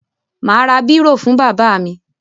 Mà á ra bírò fún bàbá mi.